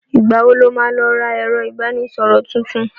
Ìgbà wo lo má lọ ra ẹ̀rọ ìbánísọ̀rọ̀ tuntun?